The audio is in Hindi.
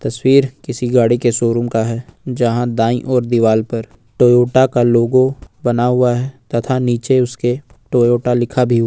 तस्वीर किसी गाड़ी के शोरूम का है जहां दाई ओर दीवार पर टोयोटा का लोगो बना हुआ है तथा नीचे उसके टोयोटा लिखा हु--